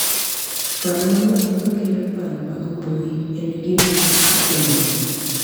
Paro mang'eny ma kelo paro mag mbui en gino matimore